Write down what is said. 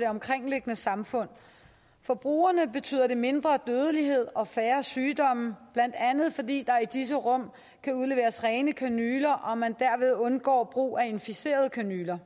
det omkringliggende samfund for brugerne betyder det mindre dødelighed og færre sygdomme blandt andet fordi der i disse rum kan udleveres rene kanyler og man derved undgår brug af inficerede kanyler